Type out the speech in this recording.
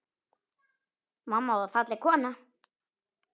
Mamma var falleg kona.